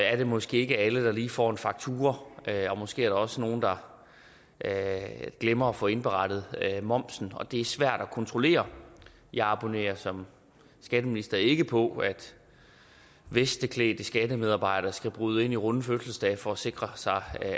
er det måske ikke alle der lige får en faktura og der er måske også nogle der glemmer at få indberettet momsen det er svært at kontrollere jeg abonnerer som skatteminister ikke på at vesteklædte skattemedarbejdere skal bryde ind i runde fødselsdage for at sikre